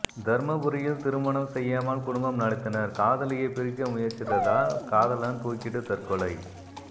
தர்மபுரியில் திருமணம் செய்யாமல் குடும்பம் நடத்தினர் காதலியை பிரிக்க முயற்சித்ததால் காதலன் தூக்கிட்டு தற்கொலை